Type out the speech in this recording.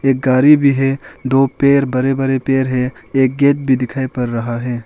एक गारी भी है दो पेर बड़े बड़े पेर है एक गेत गेट भी दिखाई पड़ रहा है।